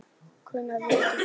Hvenær viltu fá þau?